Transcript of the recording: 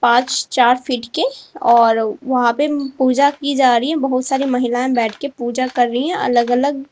आज चार फीट के और वहां पे पूजा की जा रही है। बहुत सारी महिलाएं बैठ के पूजा कर रही है अलग अलग।